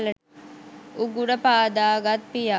උගුර පාදගත් පියා